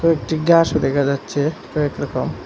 কয়েকটি ঘাসও দেখা যাচ্ছে কয়েক রকম।